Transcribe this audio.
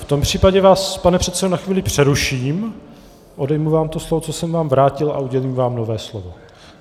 V tom případě vás, pane předsedo, na chvíli přeruším, odejmu vám to slovo, co jsem vám vrátil, a udělím vám nové slovo.